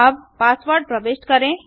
अब पासवर्ड प्रविष्ट करें